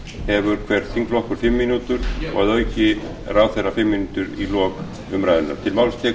hefur hver þingflokkur fimm mínútur og að auki ráðherra fimm mínútur í lok umræðunnar